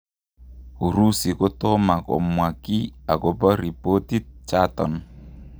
Urusi kotoma komwa kii akopa ripotit chaton